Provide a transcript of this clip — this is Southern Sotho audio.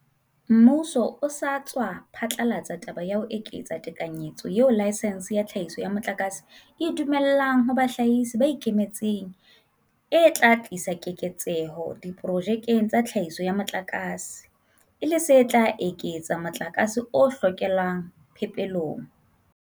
Mmuso o sa tswa phatlalatsa taba ya ho eketsa tekanyetso eo laesense ya tlhahiso ya motlakase e e dumellang ho bahlahisi ba ikemetseng e tla tlisa keketseho diprojekeng tsa tlhahiso ya motlakase, e le se tla eketsa motlakase o hokelwang phepelong.